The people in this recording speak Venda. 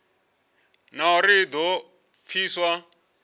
na uri i do pfiswa